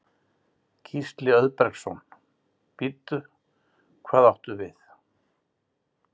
Gísli Auðbergsson: Bíddu, hvað áttu við?